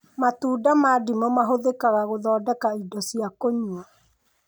Matunda ma ndimũ mahũthĩkaga gũthondeka indo cia kũnyua